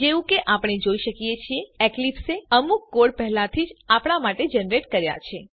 જેવું કે આપણે જોઈ શકીએ છીએ એક્લીપ્સે અમુક કોડ પહેલાથી જ આપણા માટે જનરેટ કર્યા છે